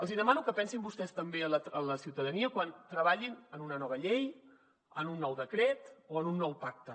els hi demano que pensin vostès també en la ciutadania quan treballin en una nova llei en un nou decret o en un nou pacte